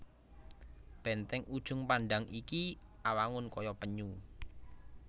Bèntèng Ujung Pandang iki awangun kaya penyu